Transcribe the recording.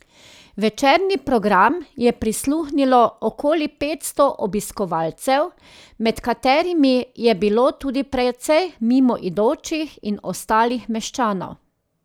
Večerni program je prisluhnilo okoli petsto obiskovalcev, med katerimi je bilo tudi precej mimoidočih in ostalih meščanov.